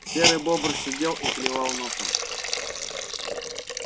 серый бобр сидел и клевал носом